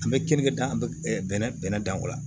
An bɛ keninke dan an bɛ bɛnɛ bɛnɛ dan o la